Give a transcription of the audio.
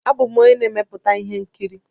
Abụ m onye na-emepụta ihe nkiri.